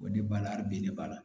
O de b'a la bin de b'a la